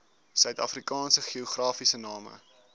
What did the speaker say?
suidafrikaanse geografiese name